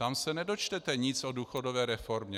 Tam se nedočtete nic o důchodové reformě.